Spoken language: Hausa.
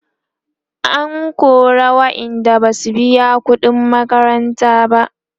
an kora waƴanda Basu biya ƙuɗin makaranta ba